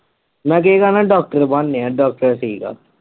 ਮੈ doctor ਬਣਨੇ ਆ doctor ਠੀਕ ਆ